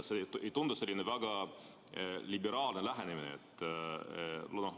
See ei tundu väga liberaalne lähenemine.